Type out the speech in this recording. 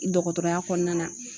Dɔgɔtɔrɔya kɔnɔna na